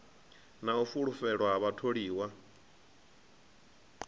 na u fulufhelwa ha vhatholiwa